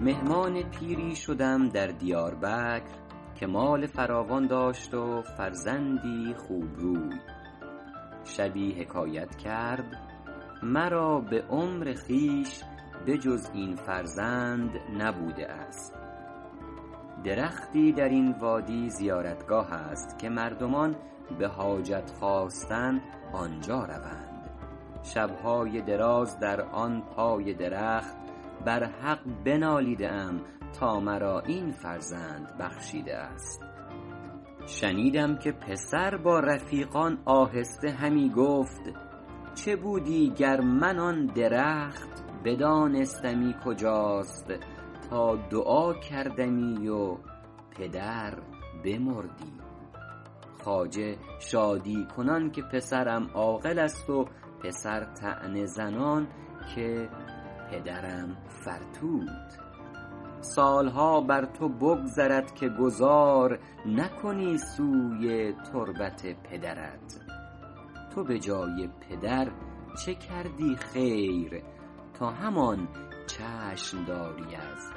مهمان پیری شدم در دیاربکر که مال فراوان داشت و فرزندی خوبروی شبی حکایت کرد مرا به عمر خویش به جز این فرزند نبوده است درختی در این وادی زیارتگاه است که مردمان به حاجت خواستن آنجا روند شب های دراز در آن پای درخت بر حق بنالیده ام تا مرا این فرزند بخشیده است شنیدم که پسر با رفیقان آهسته همی گفت چه بودی گر من آن درخت بدانستمی کجاست تا دعا کردمی و پدر بمردی خواجه شادی کنان که پسرم عاقل است و پسر طعنه زنان که پدرم فرتوت سالها بر تو بگذرد که گذار نکنی سوی تربت پدرت تو به جای پدر چه کردی خیر تا همان چشم داری از